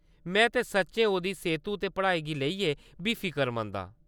ते में सच्चैं ओह्‌दी सेह्‌तु ते पढ़ाई गी लेइयै बी फिकरमंद आं।